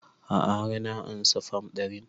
A'a har na ansa fam ɗarin